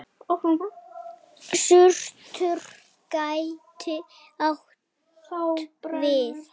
Surtur gæti átt við